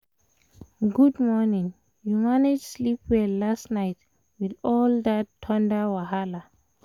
good morning! you manage sleep well last night with all that thunder wahala?